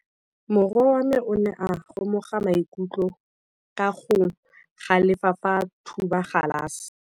Morwa wa me o ne a kgomoga maikutlo ka go galefa fa a thuba galase.